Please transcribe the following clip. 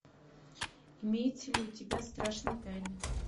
имеется ли у тебя страшные тайны